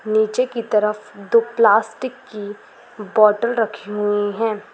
नीचे की तरफ दो प्लास्टिक की बोटल रखी हुई हैं ।